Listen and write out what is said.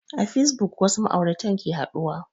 A fasebuk wasu ma'auratan ke haɗuwa